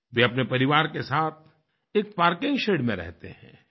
वे अपने परिवार के साथ एक पार्किंग शेड में रहतेहैं